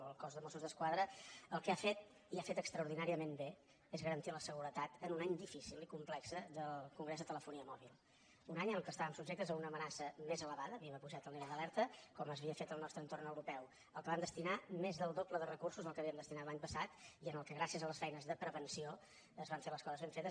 el cos de mossos d’esquadra el que ha fet i ho ha fet extraordinàriament bé és garantir la seguretat en un any difícil i complex del congrés de telefonia mòbil un any en el qual estàvem subjectes a una amenaça més elevada havíem apujat el nivell d’alerta com s’havia fet al nostre entorn europeu al qual vam destinar més del doble de recursos dels que hi havíem destinat l’any passat i en el qual gràcies a les feines de prevenció es van fer les coses ben fetes